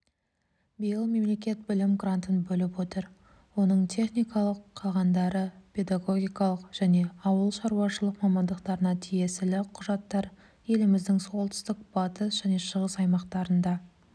биыл мемлекет білім грантын бөліп отыр оның техникалық қалғандары педагогикалық және ауылшаруашылық мамандықтарына тиесілі құжаттар еліміздің солтүстік батыс және шығыс аймақтарында